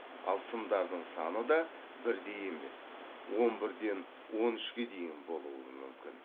ал сымдардың саны да бірдей емес он бірден он үшке дейін болуы мүмкін